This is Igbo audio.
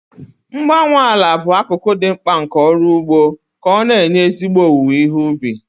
Mgbanwe ala bụ akụkụ dị mkpa nke ọrụ ugbo ka ọ na-enye ezigbo owuwe ihe ubi.